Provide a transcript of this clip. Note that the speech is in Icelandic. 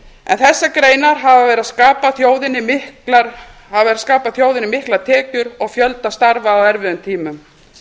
en þessar greinar hafa verið að skapa þjóðinni miklar tekjur og fjölda starfa á erfiðum tímum